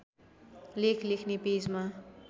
लेख लेख्‍ने पेजमा